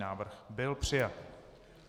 Návrh byl přijat.